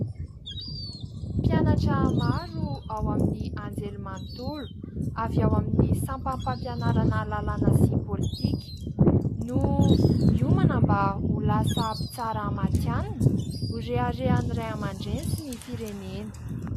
Mpianatra maro ao amin'ny anjerimanontolo, avy ao amin'ny sampam-pampianarana lalàna sy politika, no miomana mba ho lasa mpitsara matihanina, ho reharehan'ny ray aman-dreny sy ny firenena.